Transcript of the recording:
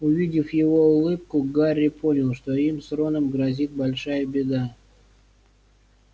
увидев его улыбку гарри понял что им с роном грозит большая беда